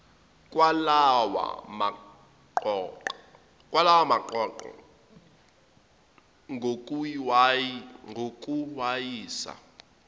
kwalawa maqoqo ngokuwayisa